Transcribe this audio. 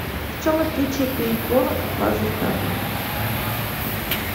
в чем отличие пейнтбола от лазертага